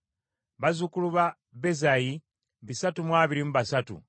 bazzukulu ba Bezayi ebikumi bisatu mu amakumi abiri mu basatu (323),